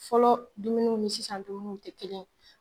Fɔlɔ dumuniw ni sisan dumuniw tɛ kelen ye.